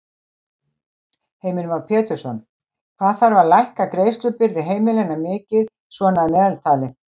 Heimir Már Pétursson: Hvað þarf að lækka greiðslubyrði heimilanna mikið svona að meðaltali?